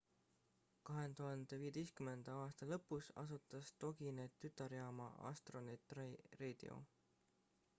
2015 aasta lõpus asutas toginet tütarjaama astronet radio